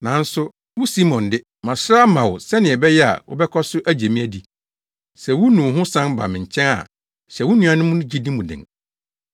Nanso wo Simon de, masrɛ ama wo sɛnea ɛbɛyɛ a wobɛkɔ so agye me adi. Sɛ wunu wo ho san ba me nkyɛn a hyɛ wo nuanom no gyidi mu den.”